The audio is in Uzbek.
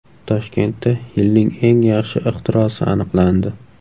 Toshkentda yilning eng yaxshi ixtirosi aniqlandi.